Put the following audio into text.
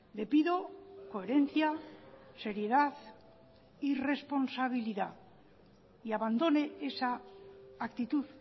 le pido coherencia seriedad y responsabilidad y abandone esa actitud